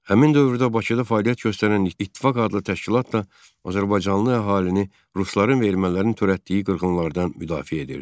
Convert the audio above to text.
Həmin dövrdə Bakıda fəaliyyət göstərən İttifaq adlı təşkilat da Azərbaycanlı əhalini rusların və ermənilərin törətdiyi qırğınlardan müdafiə edirdi.